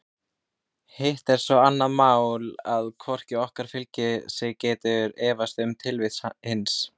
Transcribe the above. Hitt er svo annað mál að hvort okkar fyrir sig getur efast um tilvist hins.